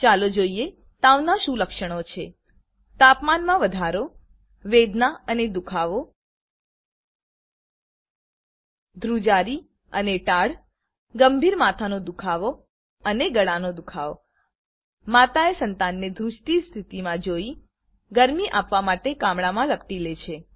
ચાલો જોઈએ તાવના શું લક્ષણો છે તાપમાનમાં વધારો વેદના અને દુખાવો ધુ્રજારી અને ટાઢ ગંભીર માથાનો દુખાવો અને ગળાનો દુખાવો માતાએ સંતાનને ધુજતી સ્થિતિમાં જોઈ ગરમી આપવા માટે કામળામા લપટી લે છે